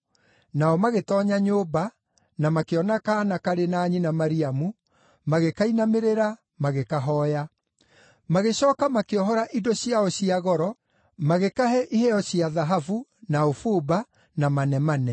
Nao magĩtoonya nyũmba, na makĩona kaana karĩ na nyina Mariamu, magĩkainamĩrĩra, magĩkahooya. Magĩcooka makĩohora indo ciao cia goro, magĩkahe iheo cia thahabu, na ũbumba, na manemane.